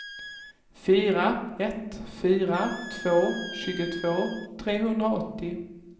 fyra ett fyra två tjugotvå trehundraåttio